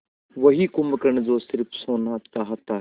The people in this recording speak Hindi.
वही कुंभकर्ण जो स़िर्फ सोना चाहता है